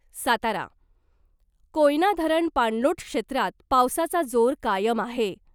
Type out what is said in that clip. सातारा, कोयना धरण पाणलोट क्षेत्रात पावसाचा जोर कायम आहे .